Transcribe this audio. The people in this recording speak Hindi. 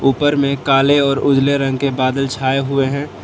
ऊपर में काले और उजले रंग के बादल छाए हुए हैं।